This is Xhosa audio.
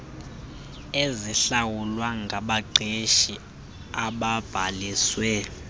ezihlawulwe ngabaqeshi ababhaliswe